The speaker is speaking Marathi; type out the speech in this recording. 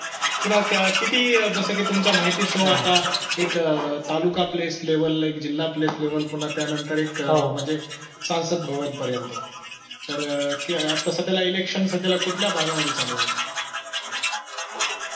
पुन्हा त्या किती जसं की तुमच्या माहिती स्वता एक अह तालुका place level ला एक जिल्हा place level पुन्हा त्यानंतर एक म्हणजे संसद भवन पर्यंत तर अह आता सध्याला election सध्याला कुठल्या भागामध्ये चालू आहेत?